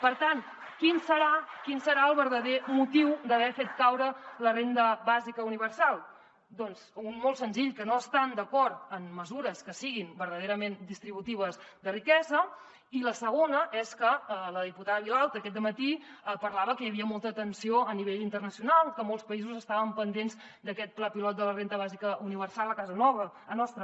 per tant quin deu ser el verdader motiu d’haver fet caure la renda bàsica universal doncs molt senzill que no estan d’acord amb mesures que siguin verdaderament distributives de riquesa i la segona és que la diputada vilalta aquest dematí parlava que hi havia molta tensió a nivell internacional que molts països estaven pendents d’aquest pla pilot de la renda bàsica universal a casa nostra